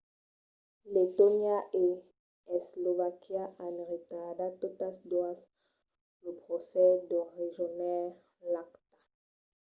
letònia e eslovaquia an retardat totas doas lo procès per rejónher l'acta